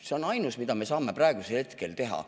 See on ainus, mida me saame praegu teha.